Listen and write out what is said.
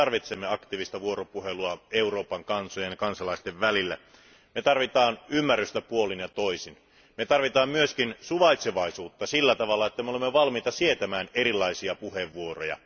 Me tarvitsemme aktiivista vuoropuhelua Euroopan kansojen ja kansalaisten välillä. Me tarvitsemme ymmärrystä puolin ja toisin. Me tarvitsemme myös suvaitsevaisuutta siten, että me olemme valmiita sietämään erilaisia puheenvuoroja.